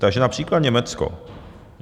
Takže například Německo.